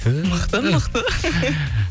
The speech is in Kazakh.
түү мықты мықты